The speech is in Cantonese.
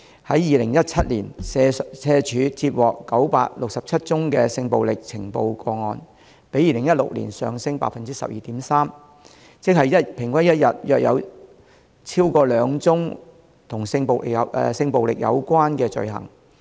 在2017年，社署接獲967宗性暴力呈報個案，比2016年上升 12.3%， 即平均一天約有超過兩宗與性暴力有關的罪行。